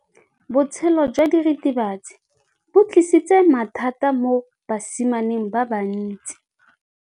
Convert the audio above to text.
Botshelo jwa diritibatsi ke bo tlisitse mathata mo basimaneng ba bantsi.